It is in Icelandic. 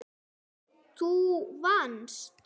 Þú vannst.